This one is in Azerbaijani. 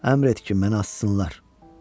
Əmr et ki, məni assınlar.